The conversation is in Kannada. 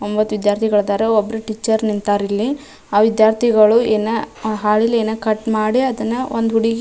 ಒಂಬತ್ತು ವಿದ್ಯಾರ್ಥಿಗಳು ಇದ್ದಾರೆ ಒಬ್ರು ಟೀಚರ್ ನಿಂತರ ಇಲ್ಲಿ ಆಹ್ಹ್ ವಿದ್ಯಾರ್ಥಿಗಳು ಇನ್ನ ಹಾಳೆ ಲ್ ಏನೋ ಕಟ್ ಮಾಡಿ ಅದನ್ನ ಒಂದ್ ಹುಡುಗಿ --